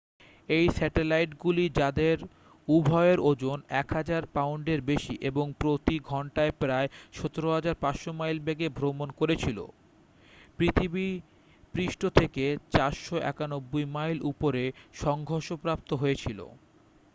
এই স্যাটেলাইটগুলি যাদের উভয়ের ওজন 1,000 পাউন্ডের বেশি এবং প্রতি ঘন্টায় প্রায় 17,500 মাইল বেগে ভ্রমণ করেছিল পৃথিবীপৃষ্ঠ থেকে 491 মাইল উপরে সংঘর্ষপ্রাপ্ত হয়েছিল